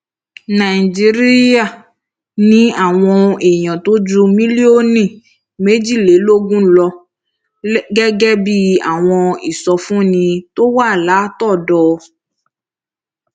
nàìjíríà ní àwọn èèyàn tó ju mílíọnù méjìlélógún lọ gẹgẹ bí àwọn ìsọfúnni tó wá látọdọ